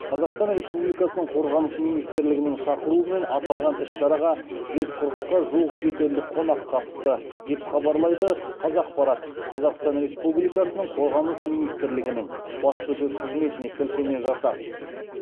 қазақстан республикасының қорғаныс министрлігінің шақыруымен аталған іс шараға жүз қырыққа жуық шетелдік қонақ қатысты деп хабарлайды қазақпарат қазақстан республикасының қорғаныс министрлігінің баспасөз қызметіне сілтеме жасап